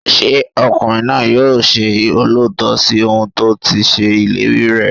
Ṣé ọkùnrin náà yóò ṣe olóòótọ́ sí ohùn tó ti ṣe ìlérí rẹ̀?